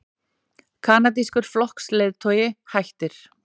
Kanadískur flokksleiðtogi hættir